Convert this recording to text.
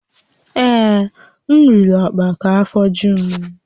Ee, m riri ọkpa ka afọ ju m